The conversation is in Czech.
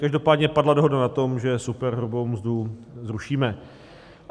Každopádně padla dohoda na tom, že superhrubou mzdu zrušíme.